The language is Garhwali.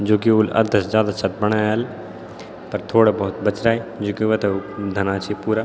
जू की उल अधा से जादा छत बणायल पर थोड़ा बहौत बचरा रा है जुकी वेथे धना छीं पूरा।